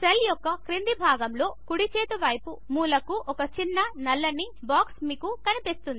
cell యొక్క క్రింది భాగములో కుడి చేతి వైపు మూలకు ఒక చిన్న నల్లని బాక్స్ మీకు కనిపిస్తుంది